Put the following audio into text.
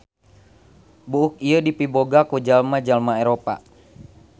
Buuk ieu dipiboga ku jalma-jalma Eropa.